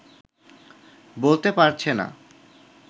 বলতে পারছে না